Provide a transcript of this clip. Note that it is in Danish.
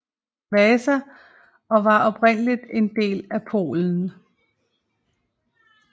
Vasa og var oprindeligt en del af Polen